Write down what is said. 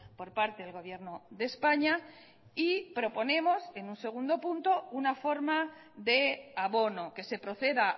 por parte del gobierno de españa y proponemos en un segundo punto una forma de abono que se proceda